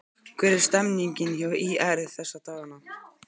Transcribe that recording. Hvernig er stemmningin hjá ÍR þessa dagana?